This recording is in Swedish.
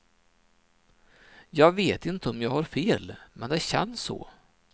Jag vet inte om jag har fel, men det känns så.